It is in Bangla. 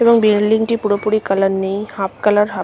এবং বিল্ডিংটি পুরোপুরি কালার নেই হাফ কালার হাফ ।